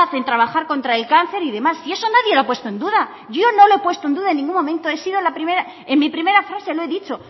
el trabajar contra el cáncer y demás si eso no lo ha puesto nadie en duda yo no lo he puesto en duda en ningún momento en mi primera frase lo he dicho